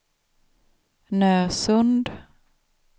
Nösund